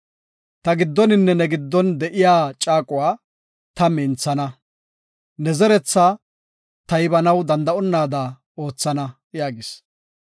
Ta giddoninne ne giddon de7iya caaquwa ta minthana; ne zeretha ta taybanaw danda7etonada oothana” yaagis.